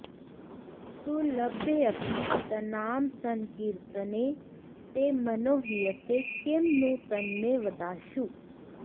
सुलभ्येऽपि तन्नामसंकीर्तने ते मनो हीयते किं नु तन्मे वदाशु